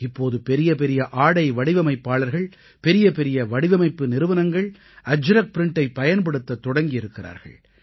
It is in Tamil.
இப்போது பெரிய பெரிய ஆடை வடிவமைப்பாளர்கள் பெரிய பெரிய வடிவமைப்பு நிறுவனங்கள் அஜ்ரக் ப்ரிண்டை பயன்படுத்தத் தொடங்கி இருக்கிறார்கள்